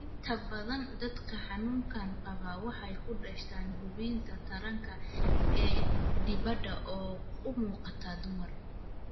Inta badan dadka xanuunkan qaba waxay ku dhashaan xubinta taranka ee dibadda oo u muuqata dumar.